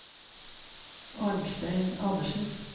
Arnstein Andersen